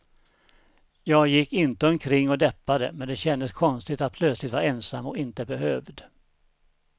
Jag gick inte omkring och deppade, men det kändes konstigt att plötsligt vara ensam och inte behövd.